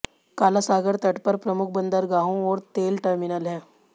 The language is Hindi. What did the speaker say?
काला सागर तट पर प्रमुख बंदरगाहों और तेल टर्मिनल हैं